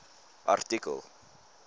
artikel